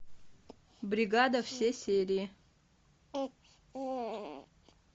бригада все серии